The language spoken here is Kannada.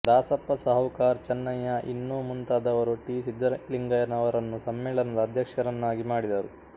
ದಾಸಪ್ಪ ಸಾಹುಕಾರ್ ಚನ್ನಯ್ಯ ಇನ್ನೂ ಮುಂತಾದವರು ಟಿ ಸಿದ್ದಲಿಂಗಯ್ಯನವರನ್ನು ಸಮ್ಮೇಳನದ ಅಧ್ಯಕ್ಷರನ್ನಾಗಿ ಮಾಡಿದರು